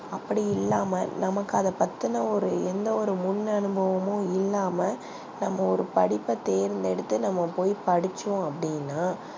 அப்டி இல்லாம எந்த ஒரு முன் அனுபவமும் இல்லாம நம்ப ஒரு படிப்ப தேர்தெடுத்து நம்ப போய் படிச்சோம் அப்டினா